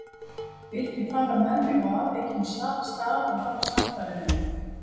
Vildi fara með mig á afvikinn stað og hafa samfarir við mig.